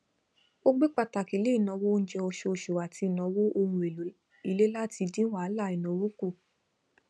ó gbé pàtàkì lé ìnáwó oúnjẹ oṣooṣù àti ìnáwó ohun èlò ilé láti dín wàhálà ìnáwó kù